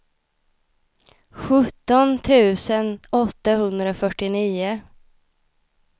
sjutton tusen åttahundrafyrtionio